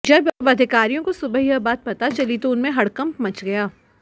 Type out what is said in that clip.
जब अधिकारियों को सुबह यह बात पता चली तो उनमें हड़कम्प मच गया